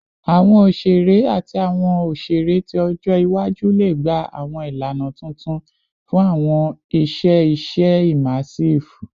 Awọn oṣere ati awọn oṣere ti ọjọ iwaju le gba awọn ilana tuntun fun awọn iṣẹ iṣe immersive